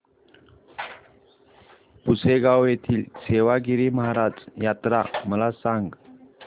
पुसेगांव येथील सेवागीरी महाराज यात्रा मला सांग